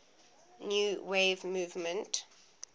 new wave movement